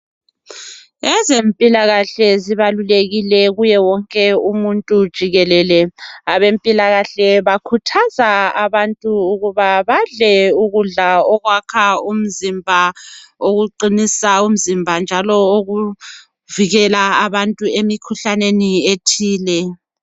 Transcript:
Ezempilakahle zibalulekile kuye wonke umuntu jikelele. Abempilakahle bakhuthaza abantu ukuba badle ukudla okwakha umzimba, okuqinisa umzimba njalo okuvikela abantu emikhuhlaneni ethile.